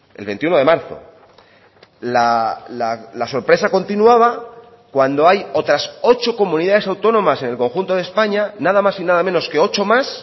el veintiuno de marzo la sorpresa continuaba cuando hay otras ocho comunidades autónomas en el conjunto de españa nada más y nada menos que ocho más